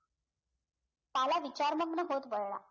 काला विचारनम्न होत वळला